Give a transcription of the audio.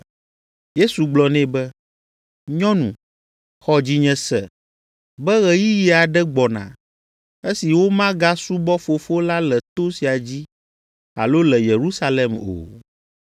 Yesu gblɔ nɛ be, “Nyɔnu, xɔ dzinye se be ɣeyiɣi aɖe gbɔna, esi womagasubɔ Fofo la le to sia dzi alo le Yerusalem o.